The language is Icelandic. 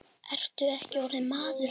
Ertu ekki orðinn mágur hans?